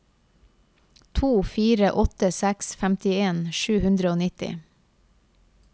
to fire åtte seks femtien sju hundre og nitti